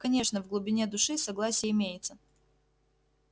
конечно в глубине души согласие имеется